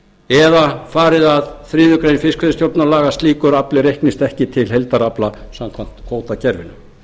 eða farið að þriðju grein fiskveiðistjórnarlaga að slíkur afli reiknist ekki til heildarafla samkvæmt kvótakerfinu